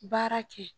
Baara kɛ